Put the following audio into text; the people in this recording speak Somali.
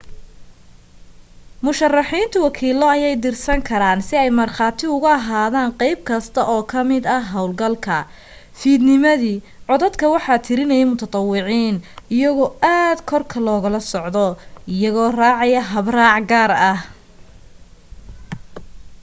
musharaxiintu wakiilo ayay dirsan karaan si ay markhaati ugu ahaadaan qayb kasta oo ka mid ah hawlgalka fiidnimadii codadka waxa tiranaya mutadawiciin iyagoo aad korka loogala socdo iyagoo raacaya habraac gaar ah